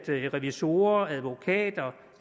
revisorer advokater